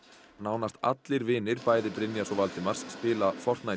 nánast allir vinir bæði Brynjars og Valdimars spila